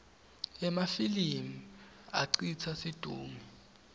emafilimi acitsa situngle